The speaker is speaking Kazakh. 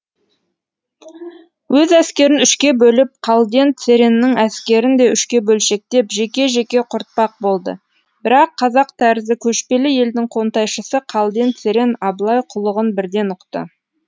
өз әскерін үшке бөліп қалден цереннің әскерін де үшке бөлшектеп жеке жеке құртпақ болды бірақ қазақ тәрізді көшпелі елдің қонтайшысы қалден церен абылай қулығын бірден ұқты